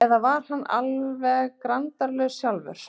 Eða var hann alveg grandalaus sjálfur?